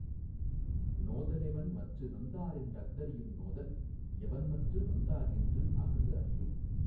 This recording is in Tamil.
நோத லெவன்மற்று நொந்தாரென் றஃதறியுங் நோதல் எவன் மற்று நொந்தார் என்று அஃது அறியும்